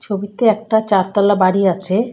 ছবিতে একটা চারতলা বাড়ি আছে।